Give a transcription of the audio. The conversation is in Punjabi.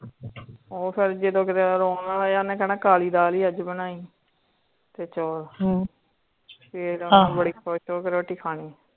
ਓ ਫੇਰ ਜਦੋ ਕੀਤੇ ਰੋਣ ਲਗ ਜਾਂਦਾ ਹੈ ਕਹਿੰਦਾ ਕਾਲੀ ਦਾਲ ਹੀ ਅੱਜ ਬਨਾਇ ਤੇ ਚੋਲ ਫੇਰ ਆਹੋ ਬੜੀ ਖੁਸ਼ ਹੋਕੇ ਰੋਟੀ ਖਾਣੀ